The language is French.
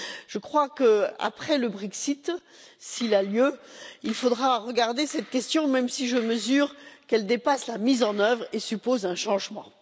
Je crois qu'après le Brexit, s'il a lieu, il faudra regarder cette question, même si je suis consciente qu'elle dépasse la mise en œuvre et suppose un changement.